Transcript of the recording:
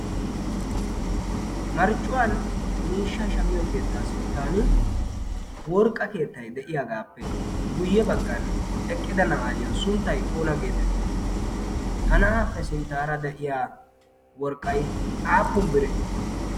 Marccuwan miishshaa shammiyo keettaa sinttan worqqa keettay de'iyagaappe guyye baggan eqqida na'aayo sunttay oona geetettii? Ha na'aappe sinttaara de'iya worqqay aapun biree?